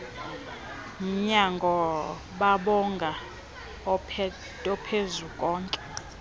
umnyango bambonga ophezukonke